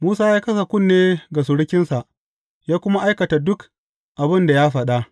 Musa ya kasa kunne ga surukinsa, ya kuma aikata duk abin da ya faɗa.